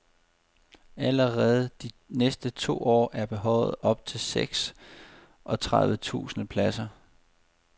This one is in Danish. Allerede de næste to år er behovet op til seks og tredive tusind pladser.